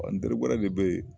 Ɔ n teri wɛrɛ de be yen